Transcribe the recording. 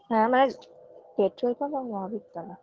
হ্যাঁ মানে petrol pump আর মহাবীর তলা